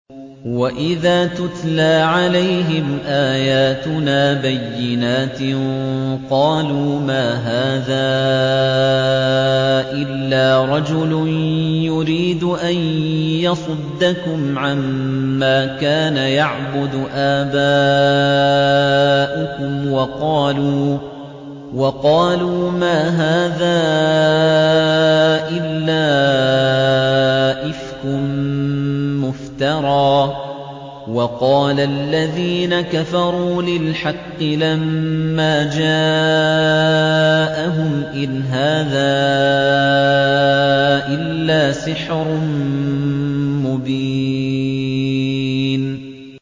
وَإِذَا تُتْلَىٰ عَلَيْهِمْ آيَاتُنَا بَيِّنَاتٍ قَالُوا مَا هَٰذَا إِلَّا رَجُلٌ يُرِيدُ أَن يَصُدَّكُمْ عَمَّا كَانَ يَعْبُدُ آبَاؤُكُمْ وَقَالُوا مَا هَٰذَا إِلَّا إِفْكٌ مُّفْتَرًى ۚ وَقَالَ الَّذِينَ كَفَرُوا لِلْحَقِّ لَمَّا جَاءَهُمْ إِنْ هَٰذَا إِلَّا سِحْرٌ مُّبِينٌ